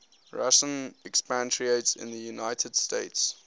russian expatriates in the united states